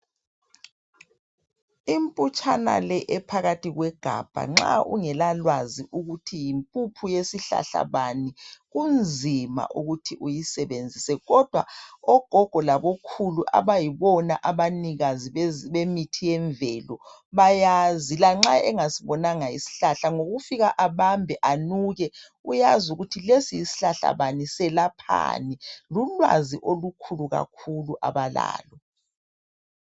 imputshana le ephakathi kwegabha nxa ungela lwazi lokuthi yimpuphu yesihlahla bani kunzima ukuthi uyisebenzise kodwa ogogo labokhulu abayibona abanikazi bemithi yemvelo bayazi lanxa engasibonanga isihlahla ukufika abambe anuke uyazi ukuthi lesi yisihlahla bani njalo selaphani ulwazi olukhulu kakhulu abalalo